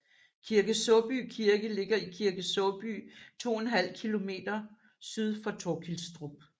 Kirke Saaby Kirke ligger i Kirke Saaby 2½ km syd for Torkilstrup